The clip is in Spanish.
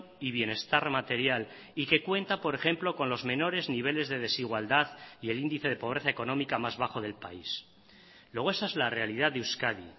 y bienestar material y que cuenta por ejemplo con los menores niveles de desigualdad y el índice de pobreza económica más bajo del país luego esa es la realidad de euskadi